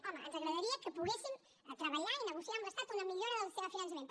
home ens agradaria que poguéssim treballar i negociar amb l’estat una millora del sistema de finançament